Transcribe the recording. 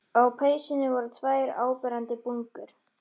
Á peysunni voru tvær áberandi bungur.